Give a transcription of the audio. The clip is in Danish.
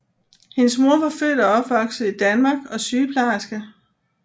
Hendes mor var født og opvokset i Danmark og sygeplejerske